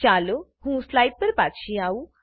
ચાલો હું સ્લાઈડ પર પાછી આવું